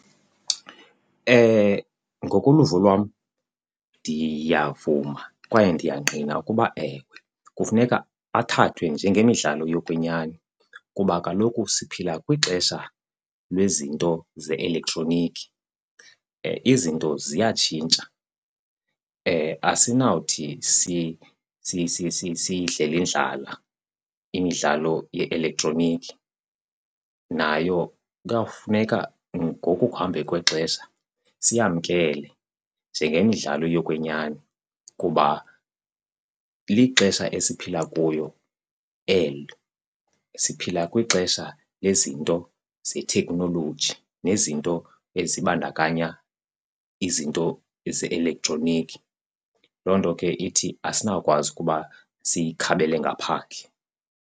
Ngokoluvo lwam ndiyavuma kwaye ndiyangqina ukuba, ewe, kufuneka athathwe njengemidlalo yokwenyani kuba kaloku siphila kwixesha lwezinto ze-elektroniki, izinto ziyatshintsha. Asinawuthi siyidlele indlala imidlalo ye-elektroniki nayo kuyawufuneka ngokukuhamba kwexesha siyamkele njengemidlalo yokwenyani kuba lixesha esiphila kuyo elo. Siphila kwixesha lezinto zethekhnoloji nezinto ezibandakanya izinto eze-elektroniki, loo nto ke ithi asinawukwazi ukuba siyikhabele ngaphandle.